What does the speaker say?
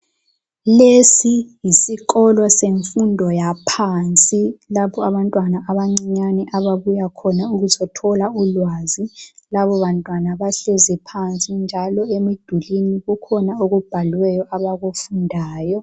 Lesi yisikolo semfundo yaphansi lapho abantwana abancinyane ababuya khona ukuzothola ulwazi labo bantwana labo bantwana bahlezi njalo emidukuzo njalo emidulwini kukhona okubhaliwe abakufundayo